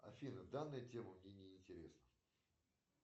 афина данная тема мне не интересна